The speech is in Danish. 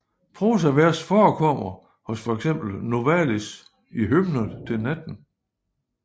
Prosavers forekommer hos for eksempel Novalis i Hymner til natten